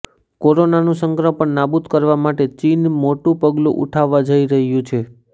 કોરોનાનું સંક્રમણ નાબુદ કરવા માટે ચીન મોટું પગલુ ઉઠાવવા જઈ રહ્યું છે